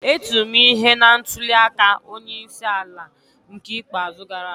E tiri m ihe na ntuli aka onye isi ala n'ke ikpeazụ gara aga